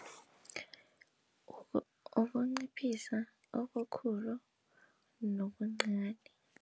Ukunciphisa obukhulu nobuncani.